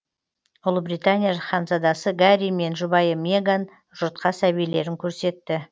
ұлыбритания ханзадасы гарри мен жұбайы меган жұртқа сәбилерін көрсетті